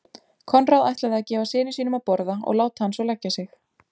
Konráð ætlaði að gefa syni sínum að borða og láta hann svo leggja sig.